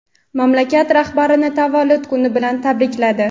mamlakat rahbarini tavallud kuni bilan tabrikladi.